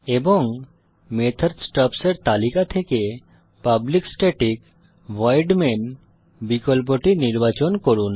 এবং method stubs এর তালিকা থেকে পাবলিক স্ট্যাটিক ভয়েড মেইন বিকল্পটি নির্বাচন করুন